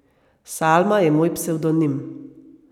Salma je moj psevdonim.